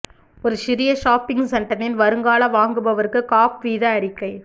ஒரு சிறிய ஷாப்பிங் சென்டரின் வருங்கால வாங்குபவருக்கு காப் வீத அறிக்கை